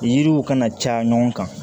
Yiriw kana caya ɲɔgɔn kan